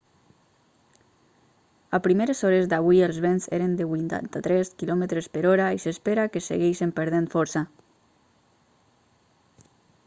a primeres hores d'avui els vents eren de 83 km/h i s'espera que segueixin perdent força